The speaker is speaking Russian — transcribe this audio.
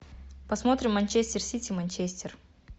посмотрим манчестер сити манчестер